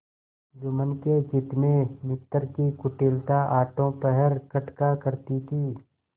जुम्मन के चित्त में मित्र की कुटिलता आठों पहर खटका करती थी